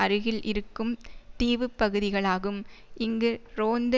அருகில் இருக்கும் தீவுப் பகுதிகளாகும் இங்கு ரோந்து